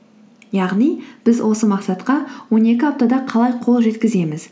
яғни біз осы мақсатқа он екі аптада қалай қол жеткіземіз